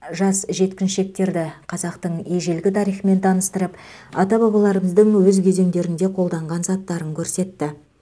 жас жеткіншектерді қазақтың ежелгі тарихымен таныстырып ата бабаларымыздың өз кезендерінде қолданған заттарын көрсетті